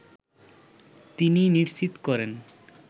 তিনিই নিশ্চিত করেন